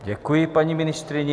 Děkuji paní ministryni.